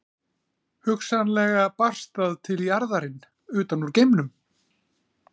Hugsanlega barst það til jarðarinn utan úr geimnum.